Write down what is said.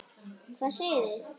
Hvað segið þið?